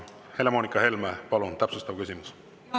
Helle-Moonika Helme, palun täpsustav küsimus!